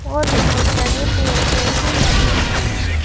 और बहुत बड़े पेड़-पेड़ भी लगे हैं।